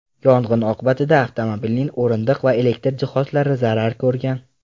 Yong‘in oqibatida avtomobilning o‘rindiq va elektr jihozlari zarar ko‘rgan.